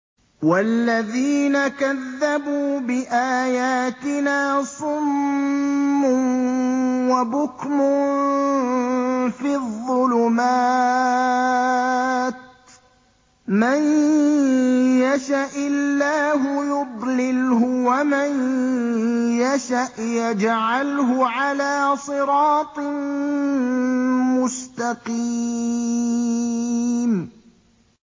وَالَّذِينَ كَذَّبُوا بِآيَاتِنَا صُمٌّ وَبُكْمٌ فِي الظُّلُمَاتِ ۗ مَن يَشَإِ اللَّهُ يُضْلِلْهُ وَمَن يَشَأْ يَجْعَلْهُ عَلَىٰ صِرَاطٍ مُّسْتَقِيمٍ